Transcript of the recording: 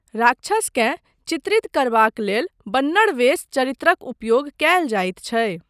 राक्षसकेँ चित्रित करबाक लेल 'बन्नड़ वेश' चरित्रक उपयोग कयल जाइत छै।